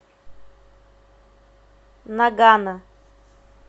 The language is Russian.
нагано